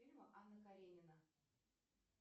фильма анна каренина